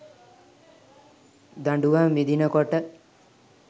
දඬුවම් විඳින කොට